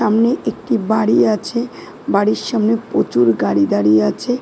সামনে একটি বাড়ি আছে বাড়ির সামনে প্রচুর গাড়ি দাঁড়িয়ে আছে ।